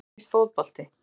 Um hvað snýst fótbolti?